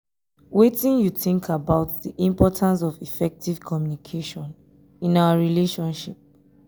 wetin you think about di importance of effective communication in our relationship?